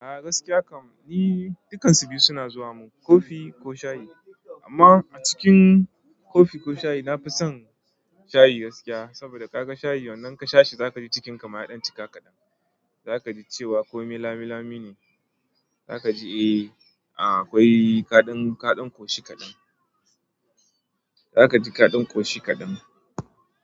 A gaskiya kam ni dukansu biyu suna zuwa mun, kofi ko shayi. Amma a cikin kofi ko shayi nafi son shayi gaskiya. Saboda ka ga shayi yanzu in ka sha shi za kaji cikin ka ma ya ɗan cika kaɗan. Za kaji cewa komai lamilami ne. Za kaji eh, a akwai kaɗan, kaɗan koshi kaɗan. Za kaji kaɗan koshi kaɗan.